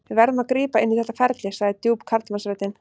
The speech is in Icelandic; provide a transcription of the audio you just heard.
Við verðum að grípa inn í þetta ferli, sagði djúp karlmannsröddin.